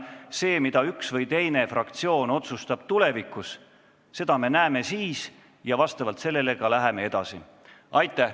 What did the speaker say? Seda, mida üks või teine fraktsioon otsustab tulevikus, me näeme siis ja vastavalt sellele läheme ka edasi.